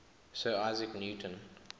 sir isaac newton